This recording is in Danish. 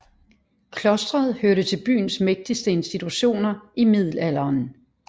Klostret hørte til byens mægtigste institutioner i middelalderen